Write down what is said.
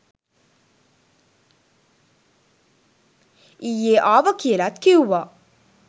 ඊයේ ආව කියලත් කිව්වා